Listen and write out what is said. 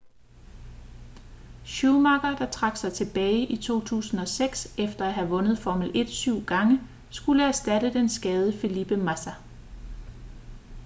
schumacher der trak sig tilbage i 2006 efter at have vundet formel 1 syv gange skulle erstatte den skadede felipe massa